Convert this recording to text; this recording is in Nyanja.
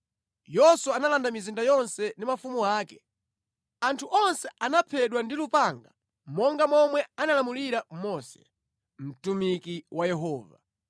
Yoswa analanda mizinda yonse ndi mafumu ake. Anthu onse anaphedwa ndi lupanga monga momwe analamulira Mose, mtumiki wa Yehova.